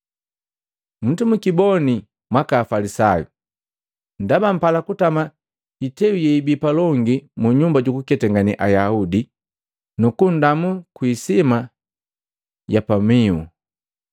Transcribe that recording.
“Musimukiboni mwaka Afalisayu! Ndaba mpala kutama hiteu yeibii palongi munyumba jukuketangane Ayaudi, nukundamu kwi hisima kugulihu.